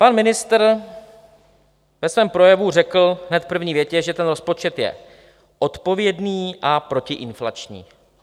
Pan ministr ve svém projevu řekl hned v první větě, že ten rozpočet je odpovědný a protiinflační.